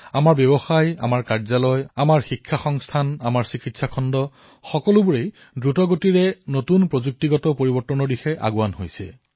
আমাৰ ব্যৱসায় আমাৰ বিভাগ আমাৰ শিক্ষণ সংস্থা আমাৰ চিকিৎসা খণ্ড প্ৰত্যেকেই দ্ৰুত গতিৰে নতুন নতুন পৰিৱৰ্তনৰ দিশত ধাৱমান হৈছে